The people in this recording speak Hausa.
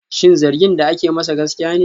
Shin zargin da ake masa gaskiya ne?